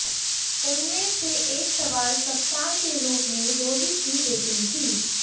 उनमें से एक सवाल कप्तान के रूप में रोहित की रेटिंग थी